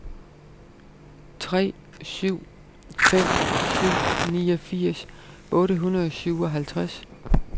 tre syv fem syv niogfirs otte hundrede og syvoghalvtreds